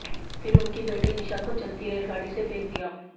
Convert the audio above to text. फिर उनकी बेटी निशा को चलती रेलगाड़ी से फेंक दिया